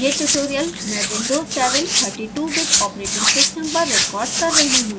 यह ट्यूटोरियल मैं windows 7 32bit operating system पर रेकॉर्ड कर रही हूँ